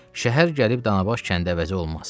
Şəhər gəlib Danabaş kəndə əvəzi olmaz.